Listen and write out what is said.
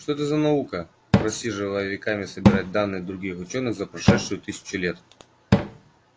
что это за наука просиживая веками собирать данные других учёных за прошедшую тысячу лет